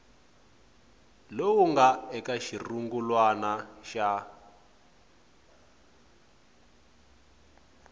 lowu nga eka xirungulwana xa